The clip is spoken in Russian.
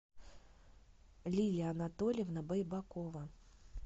лилия анатольевна байбакова